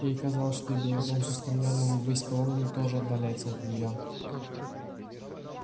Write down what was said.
ей казалось что и белый дом с его устремлёнными ввысь колоннами тоже отдаляется от нее